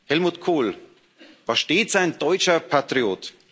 Helmut Kohl war stets ein deutscher Patriot.